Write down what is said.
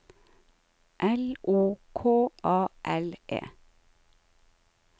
L O K A L E